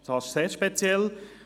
Das ist sehr speziell.